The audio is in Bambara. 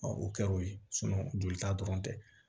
o kɛra o ye jolita dɔrɔn tɛ